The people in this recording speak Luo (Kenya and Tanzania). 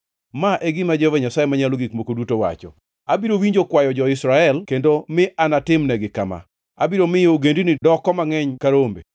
“Ma e gima Jehova Nyasaye Manyalo Gik Moko Duto wacho: Abiro winjo kwayo jo-Israel kendo mi atimnegi kama: Abiro miyo ogendini doko mangʼeny ka rombe,